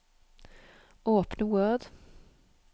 Åpne Word